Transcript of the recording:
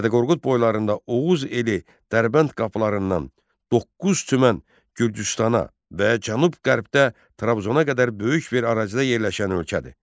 Dədə Qorqud boylarında Oğuz eli Dərbənd qapılarından doqquz tümən Gürcüstana və Cənub-Qərbdə Trabzona qədər böyük bir ərazidə yerləşən ölkədir.